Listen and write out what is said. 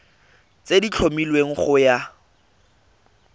tse di tlhomilweng go ya